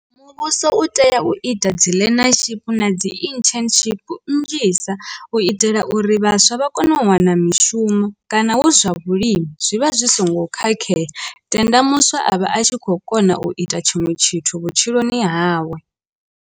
Muvhuso u tea u ita dzi learnership na dzi internship nnzhisa u itela uri vhaswa vha kone u wana mishumo kana hu zwa vhulimi zwi vha zwi songo khakhea tenda muswa a vha a tshi khou kona u ita tshiṅwe tshithu vhutshiloni hawe.